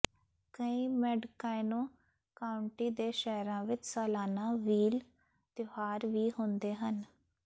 ਕਈ Mendocino county ਦੇ ਸ਼ਹਿਰਾਂ ਵਿਚ ਸਾਲਾਨਾ ਵ੍ਹੀਲ ਤਿਉਹਾਰ ਵੀ ਹੁੰਦੇ ਹਨ